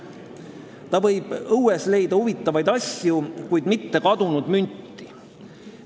Ta võib õuest leida huvitavaid asju, kuid mitte kadunud münti.